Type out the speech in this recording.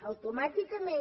automàticament